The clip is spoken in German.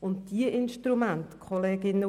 Und diese Instrumente zeigten Wirkung.